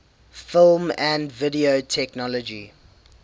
film and video technology